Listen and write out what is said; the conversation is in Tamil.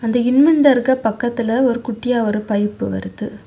இந்த இன்வெண்டர்க்கு பக்கத்துல ஒரு குட்டியா ஒரு பைப் வருது.